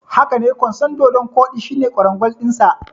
Hakane, kwanson dodon kodi shine kwarangwal dinsa.